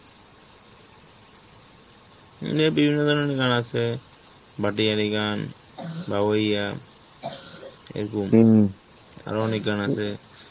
হম এ বিভিন্ন ধরনের গান আছে, ভাটিয়ালি গান, বা , এরকম আরো অনেক গান আছে